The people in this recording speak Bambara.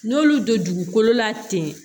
N'olu don dugukolo la ten